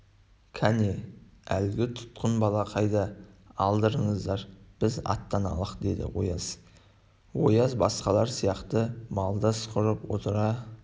кәне әлгі тұтқын бала қайда алдырыңдар біз аттаналық деді ояз ояз басқалар сияқты малдас құрып отыра